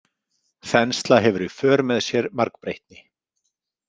Þensla hefur í för með sér margbreytni.